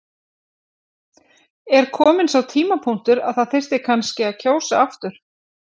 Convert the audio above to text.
Er kominn sá tímapunktur að það þyrfti kannski að kjósa aftur?